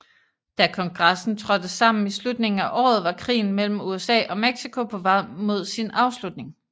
Da kongressen trådte sammen i slutningen af året var krigen mellem USA og Mexico på vej mod sin afslutning